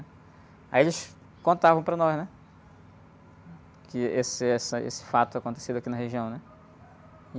Aí eles contavam para nós, é? Que esse, essa, esse fato acontecido aqui na região, né?